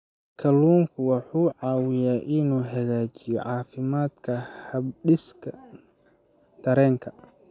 Kalluunku wuxuu caawiyaa inuu hagaajiyo caafimaadka habdhiska dareenka.